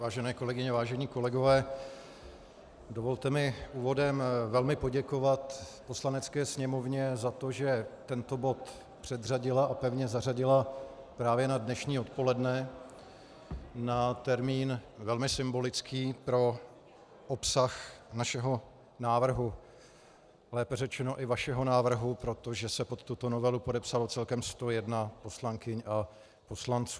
Vážené kolegyně, vážení kolegové, dovolte mi úvodem velmi poděkovat Poslanecké sněmovně za to, že tento bod předřadila a pevně zařadila právě na dnešní odpoledne, na termín velmi symbolický pro obsah našeho návrhu, lépe řečeno i vašeho návrhu, protože se pod tuto novelu podepsalo celkem 101 poslankyň a poslanců.